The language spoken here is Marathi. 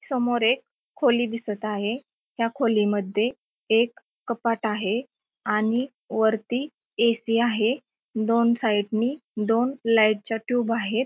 समोर एक खोली दिसत आहे ह्या खोलीमध्ये एक कपाट आहे आणि वरती ए_सी आहे दोन साईड नी दोन लाईट च्या ट्यूब आहेत.